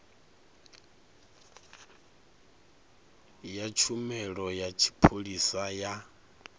ya tshumelo ya tshipholisa ya